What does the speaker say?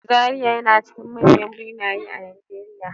Zariya na cikin manyan birane a Najeriya.